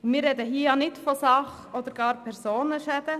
Wir reden hier nicht von Sach- oder gar Personenschäden.